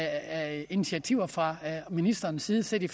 af initiativer fra ministerens side så de